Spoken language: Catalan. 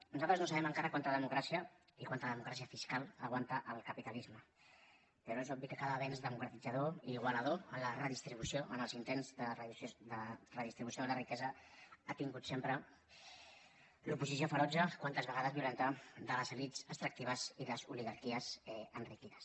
nosaltres no sabem encara quanta democràcia ni quanta democràcia fiscal aguanta el capitalisme però és obvi que cada avenç democratització i igualador en la redistribució o en els intents de redistribució de la riquesa ha tingut sempre l’oposició ferotge quantes vegades violenta de les elits extractives i les oligarquies enriquides